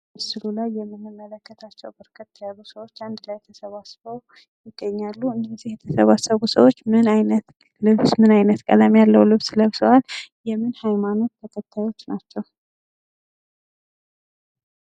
ምስሉ ላይ የምንመለከታቸው በርከት ያሉ ሰዎች አንድ ላይ ተሰባስበው ይገኛሉ ::እነዚህ የተሰባሰቡ ሰዎች ምን አይነት ቀለም ያለው ልብስ ልብሰዋል? የምን ሃይማኖት ተከታዮች ናቸው?